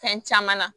Fɛn caman na